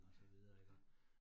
Ja, ja